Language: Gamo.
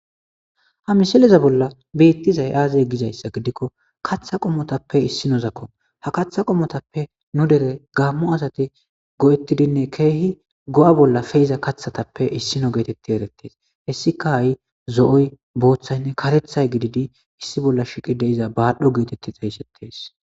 Ha misileza bollan betizay aze gizaysa gidikko katha qommotappe issinozakko ha katha qommotappe nu dere gamo asati go'etidinne kehi go'a bolla pe'iza kathatappe issino geteti eretese hesikka ha'i zo'o Bothanne karethay gididi Issi bolla shiiqi de'iza badho geteti xeysetes